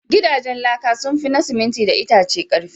Gidajen laka sun fi na siminti da itace ƙarfi.